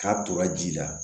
K'a tora ji la